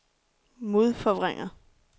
modforvrænger